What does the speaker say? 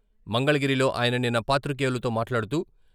మంగళగిరిలో ఆయన నిన్న పాత్రికేయులతో మాట్లాడుతూ...